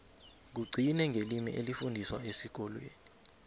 kugcine ngelimi elifundiswa esikolweni